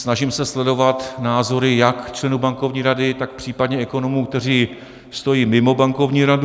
Snažím se sledovat názory jak členů Bankovní rady, tak případně ekonomů, kteří stojí mimo Bankovní radu.